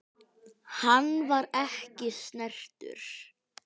Hann var ekki snertur.